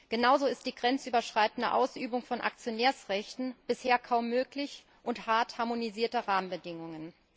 Genauso ist die grenzüberschreitende Ausübung von Aktionärsrechten bisher kaum möglich und harrt harmonisierter Rahmenbedingungen.